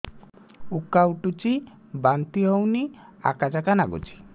ଉକା ଉଠୁଚି ବାନ୍ତି ହଉନି ଆକାଚାକା ନାଗୁଚି